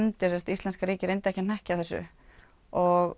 íslenska ríkið reyndi ekki að hnekkja þessu og